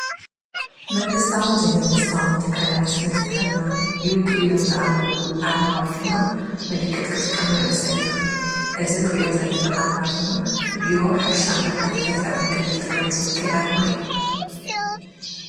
መንግስታውን ዘይመንግስታውን ትካላት ንትካልና ክውክለሎም ዝኣመንሉ ኣርማ ወይ ድማ ምልክት ክጥቃሙ ንዕዘብ ኢና፡፡ እዚንርእዮ ዘለና ኣርማ ድማ ንቢሮ ሕርሻን ልምዓት ገጠርን ክልል ትግረይ ዝውክል ኣርማ እዩ፡፡